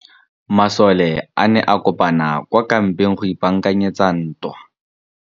Masole a ne a kopane kwa kampeng go ipaakanyetsa ntwa.